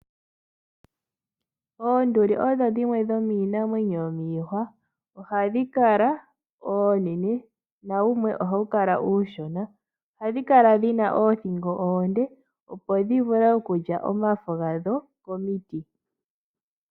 Oonduli odho dhimwe dhomiinamwenyo yomiihwa ohadhi kala oonene na wumwe ohawu kala uushona, ohadhi kala dhina oothingo oonde opo dhi vule okulya omafo gadho komiti.